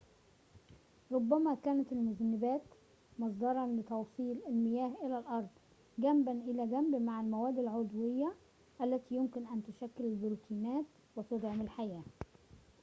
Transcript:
ربما كانت المذنبات مصدراً لتوصيل المياه إلى الأرض جنباً إلى جنب مع المواد العضوية التي يمكن أن تشكل البروتينات وتدعم الحياة